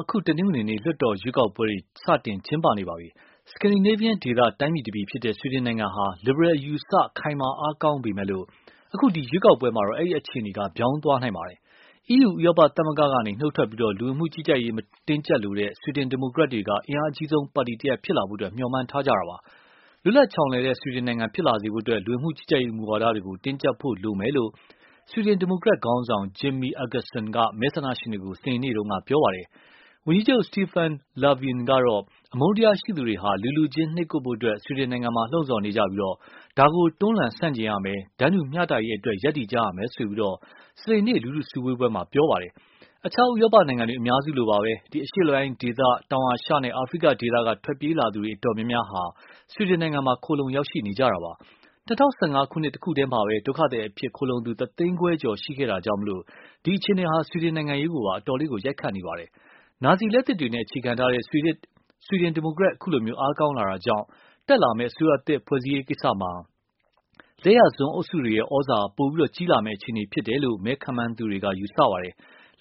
အခု တနင်္ဂနွေနေ့ ကျင်းပနေပါပြီ။ Scandinavian ဒေသ တိုင်းပြည်တပြည်ဖြစ်တဲ့ ဆွီဒင်နိုင်ငံဟာ လစ်ဘရယ်အယူအဆခိုင်မာအားကောင်းပေမယ့်လို့ အခုရွေးကောက်ပွဲမှာတော့ အဲဒီ အခြေအနေ ပြောင်းသွားနိုင်ပါတယ်။ EU ဥရောပသမဂ္ဂကနေ နုတ်ထွက်ပြီး၊ လူဝင်မှုကြီးကြပ်ရေးမူဝါဒတင်းကျပ်လိုတဲ့ ဆွီဒင်ဒီမိုကရက်တွေဟာအင်အားအကြီးဆုံး ပါတီတရပ်ဖြစ်လာဖို့ မျှော်မှန်းထားကြတာပါ။ လွတ်လပ်ချောင်လည်တဲ့ ဆွီဒင်နိုင်ငံဖြစ်လာစေဖို့ လူဝင်မှုကြီးကြပ်ရေးမူဝါဒတွေကို တင်းကျပ်ဖို့လိုမယ်လို့ ဆွီဒင်ဒီမိုကရက် ခေါင်းဆောင် Jimmie Akesson က မဲဆန္ဒရှင်တွေကို စနေနေ့က ပြောပါတယ်။ ဝန်ကြီးချုပ် Stefan Lofven ကတော့ အမုန်တရားရှိသူတွေဟာ လူ လူချင်း နှိပ်ကွပ်ဖို့ ဆွီဒင်နိုင်ငံမှာ လှုံ့ဆော်နေပြီ၊ ဒါကို တွန်းလှန်ဆန့်ကျင်ရမယ်၊ တန်းတူမျှတရေးအတွက် ရပ်တည်ကြရမယ်လို့ စနေနေ့ လူထုစုဝေးပွဲမှာ ပြောသွားပါတယ်။ အခြား ဥရောပနိုင်ငံအများစုလိုပါပဲ၊ အရှေ့အလယ်ပိုင်းဒေသ တောင်အာရှနဲ့ အာဖရိက ဒေသက ထွက်ပြေးလာသူတွေအတော်များများမှာ ဆွီဒင်နိုင်ငံမှာ ခိုလှုံရောက်ရှိနေကြတာပါ။ ၂၀၁၅ ခုနှစ်တခုတည်းမှာပဲ ဒုက္ခသည်အဖြစ်ခိုလှုံသူ တသိန်းခွဲကျော်ရှိခဲ့တာကြောင့်၊ ဒီအခြေအနေဟာ ဆွီဒင်နိုင်ငံရေးကိုပါ အတော်ရိုက်ခတ်နေပါတယ်။ နာဇီလက်သစ်တွေနဲ့ အခြေခံထားတဲ့ ဆွီဒင်ဒီမိုကရက် အခုလို အားကောင်းလာတာကြောင့်၊ တက်လာမယ့် အစိုးရသစ်ဖွဲ့ရေးကိစ္စမှာ လက်ယာစွန်းအုပ်စုတွေရဲ့ သြဇာပိုပြီးကြီးလာမယ့်အခြေအနေဖြစ်တယ်လို့ မဲခန့်မှန်းသူတွေက ပြောပါတယ်။